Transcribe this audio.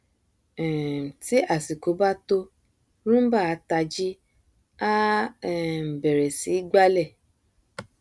um tí àsìkò bá tó roomba a tají á um bẹrẹ sí í gbálẹ